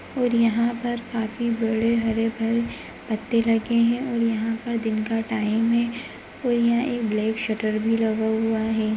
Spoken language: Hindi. और यहाँ पर काफी बड़े हरे-भरे पत्ते लगे हैं और यहाँ पर दिन का टाइम है और यहाँ ब्लैक शटर भी लगा हुआ है।